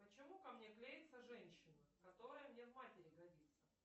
почему ко мне клеится женщина которая мне в матери годится